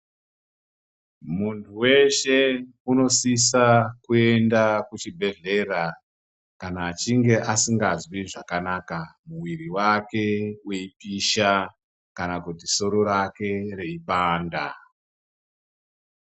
Muntu weshe unosisa kuenda kuchibhedhlera kana achinge asingazwi zvakanaka muwiri wake weipisha kana kuti soro rake reipanda.